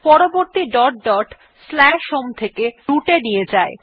পরবর্তী dot dot আমাদের home থেকে root এ নিয়ে যায়